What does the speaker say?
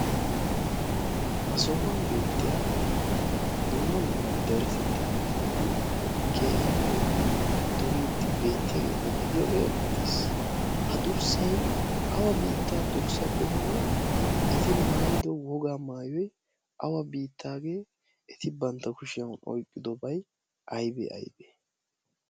ha sohuwan beettiya domma dumma darasettaa kefileti keehippe doriiddi beettiyaageeta gidiyoogee erettees. ha durssai awa biittaa durssa qommo eti maayido wogaa maayoy awa biittaagee eti bantta kushiyan oyqqidobay aybe aybe?